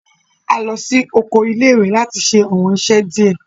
A lọ si oko ile-iwe lati ṣe awọn iṣẹ diẹ